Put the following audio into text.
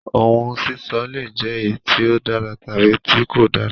Òun sísọ le jẹ eyi ti o dára tabi tí kò dára.